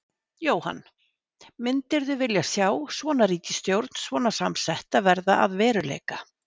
Jóhann: Myndirðu vilja sjá svona ríkisstjórn svona samsetta verða að veruleika?